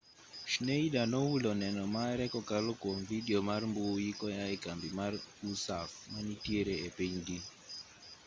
schneider nohulo neno mare kokalo kwom vidio mar mbui koyaa e kambi mar usaf manitiere e pinygi